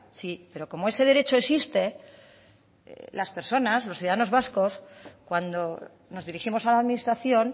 sí pero como ese derecho existe las personas los ciudadanos vascos cuando nos dirigimos a la administración